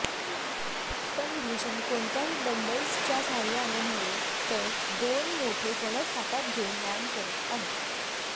पण भुषण कोणत्याही डम्बलसच्या साहाय्याने नव्हे तर दोन मोठे फणस हातात घेऊन व्यायाम करत आहे